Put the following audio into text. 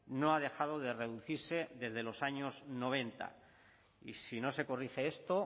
no ha dejado de reducirse desde los años noventa y si no se corrige esto